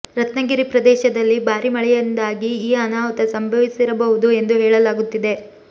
ರತ್ನಗಿರಿ ಪ್ರದೇಶದಲ್ಲಿ ಭಾರಿ ಮಳೆಯಿಂದಾಗಿ ಈ ಅನಾಹುತ ಸಂಭವಿಸಿರಬಹುದು ಎಂದು ಹೇಳಲಾಗುತ್ತಿದೆ